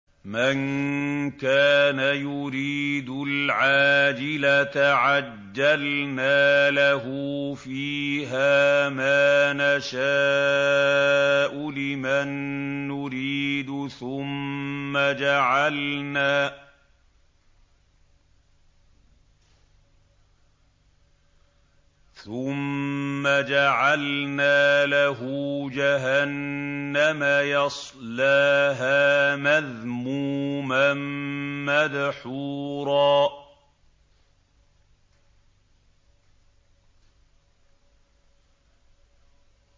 مَّن كَانَ يُرِيدُ الْعَاجِلَةَ عَجَّلْنَا لَهُ فِيهَا مَا نَشَاءُ لِمَن نُّرِيدُ ثُمَّ جَعَلْنَا لَهُ جَهَنَّمَ يَصْلَاهَا مَذْمُومًا مَّدْحُورًا